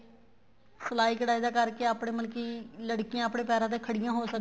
ਸਿਲਾਈ ਕੱਢਾਈ ਕਰਕੇ ਆਪਣੇ ਮਤਲਬ ਕੀ ਲੜਕੀਆਂ ਆਪਣੇ ਪੈਰਾ ਤੇ ਖੜੀਆਂ ਹੋ ਸਕਦੀਆਂ